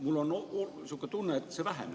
Mul on selline tunne, et see väheneb.